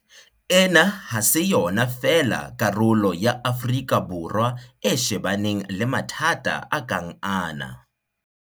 Ena ha se yona fela karolo ya Afrika Borwa e shebaneng le mathata a kang ana.